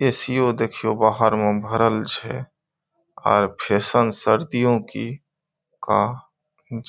AC. ओ देखियो बाहर में भरल छे। आर फैशन सर्दियों की का